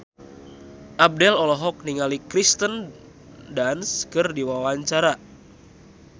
Abdel olohok ningali Kirsten Dunst keur diwawancara